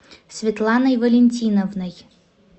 светланой валентиновной